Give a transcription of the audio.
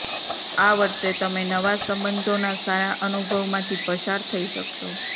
આ વર્ષે તમે નવા સંબંધોના સારા અનુભવમાંથી પસાર થઇ શકશો